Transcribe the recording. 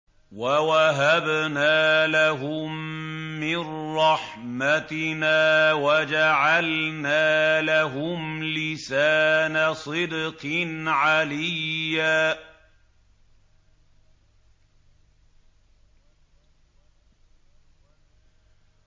وَوَهَبْنَا لَهُم مِّن رَّحْمَتِنَا وَجَعَلْنَا لَهُمْ لِسَانَ صِدْقٍ عَلِيًّا